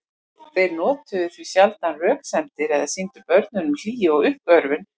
Þeir notuðu því sjaldan röksemdir eða sýndu börnunum hlýju og uppörvun.